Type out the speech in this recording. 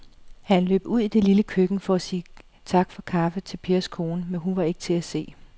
Han løb ud i det lille køkken for at sige tak for kaffe til Pers kone, men hun var ikke til at se.